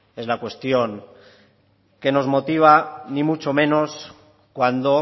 es la cuestión que nos motiva ni mucho menos cuando